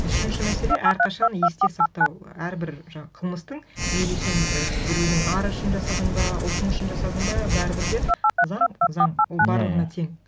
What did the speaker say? үшінші мәселе әрқашан есте сақтау әрбір жаңағы қылмыстың мейлі сен і біреудің ары үшін жасадың ба ұлтың үшін жасадың ба бәрібір де заң заң ол барлығына тең